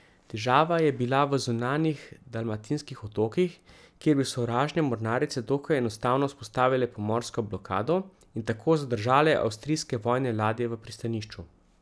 Težava je bila v zunanjih dalmatinskih otokih, kjer bi sovražne mornarice dokaj enostavno vzpostavile pomorsko blokado in tako zadržale avstrijske vojne ladje v pristanišču.